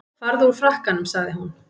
Farðu úr frakkanum sagði hún.